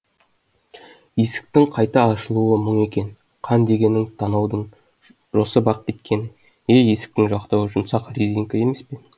есіктің қайта ашылуы мұң екен қан дегенің танаудан жосып ақ кеткені е есіктің жақтауы жұмсақ резинка емес пе